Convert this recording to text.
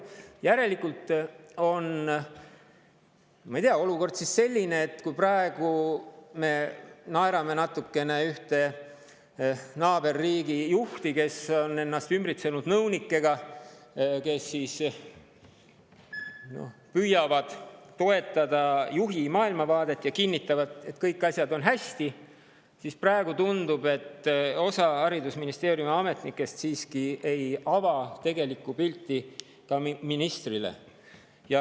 Järelikult on, ma ei tea, olukord selline, et kui me naerame natukene ühte naaberriigi juhti, kes on ennast ümbritsenud nõunikega, kes püüavad toetada juhi maailmavaadet ja kinnitavad, et kõik on hästi, siis tundub, et osa haridusministeeriumi ametnikest samamoodi ei ava tegelikku pilti ka ministrile.